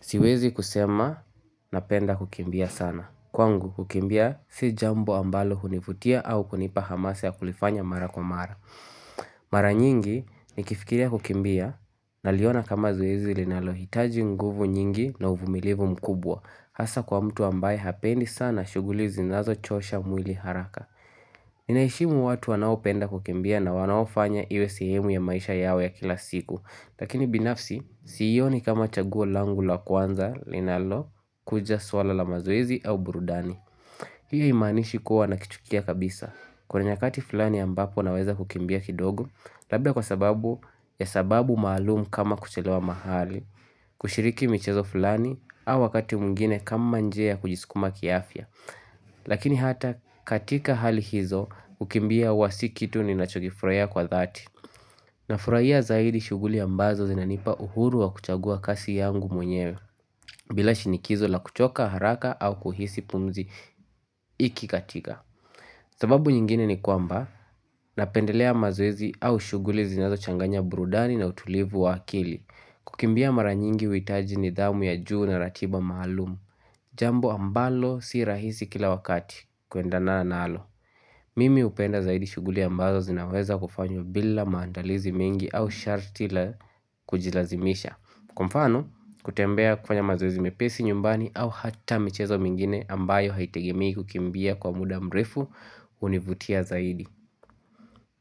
Siwezi kusema na penda kukimbia sana. Kwangu kukimbia si jambo ambalo hunivutia au kunipa hamasa ya kulifanya mara kwa mara. Mara nyingi ni kifikiria kukimbia naliona kama zuwezi linalo hitaji nguvu nyingi na uvumilivu mkubwa. Hasa kwa mtu ambaye hapendi sana shuguli zinazochosha mwili haraka. Ninaheshimu watu wanao penda kukimbia na wanaofanya iwe sihemu ya maisha yao ya kila siku. Lakini binafsi siionii kama chaguo langu la kwanza linalo kuja swala la mazoezi au burudani hiyo imanishi kuwa na kitu kia kabisa kwenye kati fulani ambapo naweza kukimbia kidogo Labda kwa sababu, ya sababu maalumu kama kuchilewa mahali kushiriki michezo fulani au wakati mwingine kama njia kujiskuma kiafya Lakini hata katika hali hizo kukimbia huwa si kitu ni nacho furahahiya kwa dhati na furahiya zaidi shuguli ambazo zinanipa uhuru wa kuchagua kasi yangu mwenyewe bila shinikizo la kuchoka haraka au kuhisi pumzi ikikatika sababu nyingine ni kwamba Napendelea mazoezi au shuguli zinazo changanya brudani na utulivu wa akili. Kukimbia mara nyingi huhitaji nidhamu ya juu na ratiba maalumu Jambo ambalo si rahisi kila wakati kuendana na nalo Mimi hupenda zaidi shuguli ambazo zinaweza kufanyo bila maandalizi mingi au sharti la kujilazimisha Kwa mfano kutembea kufanya mazozi mepesi nyumbani, au hata michezo mingine ambayo haitegemii kukimbia kwa muda mrefu hunivutia zaidi